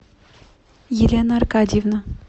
елена аркадьевна